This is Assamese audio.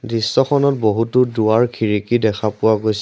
দৃশ্যখনত বহুতো দুৱাৰ খিৰিকী দেখা পোৱা গৈছে।